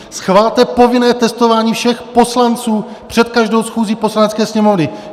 Schvalte povinné testování všech poslanců před každou schůzí Poslanecké sněmovny!